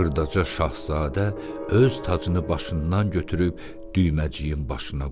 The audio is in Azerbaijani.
Xırdaca Şahzadə öz tacını başından götürüb Düyməciyin başına qoydu.